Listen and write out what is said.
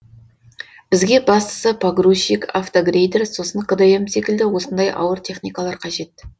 бізге бастысы погрузчик автогрейдер сосын кдм секілді осындай ауыр техникалар қажет